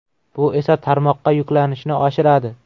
Bu esa tarmoqqa yuklanishni oshiradi.